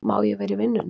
Má ég vera í vinnunni?